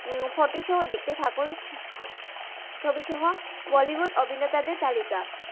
photo সহ দেখতে থাকুন ছবি সহ বলিউড অভিনেতা দের তালিকা